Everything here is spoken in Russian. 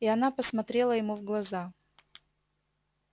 и она посмотрела ему в глаза